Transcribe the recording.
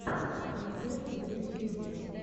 рецепты в ютьюбе